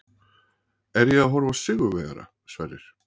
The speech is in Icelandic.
Er ég að horfa á sigurvegara, Sverrir?